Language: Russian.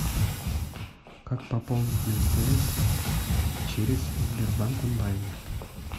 как пополнить на мтс через сбербанк онлайн